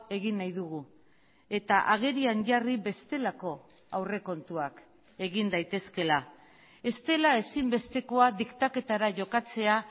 egin nahi dugu eta agerian jarri bestelako aurrekontuak egin daitezkeela ez dela ezinbestekoa diktaketara jokatzea